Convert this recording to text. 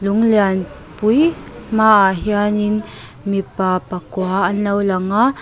lung lianpui hmaah hianin mipa pakua an lo lang a.